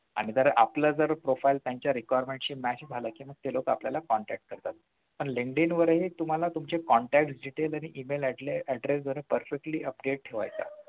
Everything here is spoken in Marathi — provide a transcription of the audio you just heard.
आणि जर आपलं जर profile requirements शी match झालं तर मग ते लोकं आपल्याला contact करतात पण Linkdin वर तुम्हाला तुम्ही contact email address जरा perfectlyy update ठेवायचा